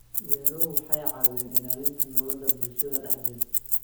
Beeruhu waxay caawiyaan ilaalinta nabadda bulshada dhexdeeda.